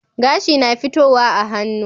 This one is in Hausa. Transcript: Gashi na fitowa a hannu